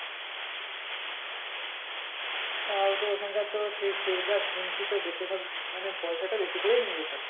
তাও তো এখানকার তো সেই যা শুনছি তো বেশিরভাগ মানে পয়সাটা বেশি করে নিয়ে যেতে হবে